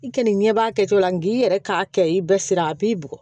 I k'i ɲɛb'a kɛcogo la nga i yɛrɛ k'a kɛ i bɛɛ sira a b'i bugɔ